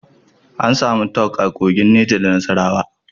Ana samun Talc a Kogi, Neja da Nasarawa.